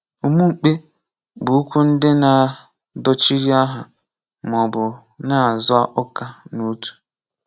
Umumkpe bu okwu ndi na dochiri aha ma ọ bụ na-azo uka na otu.